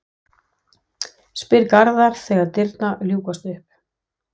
spyr Garðar þegar dyrnar ljúkast upp.